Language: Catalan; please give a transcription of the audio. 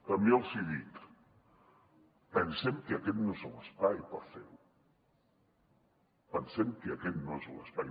també els hi dic pensem que aquest no és l’espai per fer·ho pensem que aquest no és l’espai